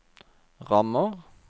rammer